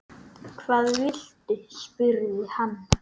Hvað viltu? spurði hann.